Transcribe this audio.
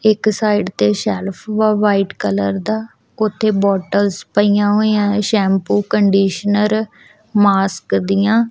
ਇੱਕ ਸਾਈਡ ਤੇ shelf white colour ਦਾ ਉਥੇ ਬੋਟਲਸ ਪਈਆਂ ਹੋਈਆਂ ਨੇ ਸ਼ੈਮਪੂ ਕੰਡੀਸ਼ਨਰ ਮਾਸਕ ਦੀਆਂ।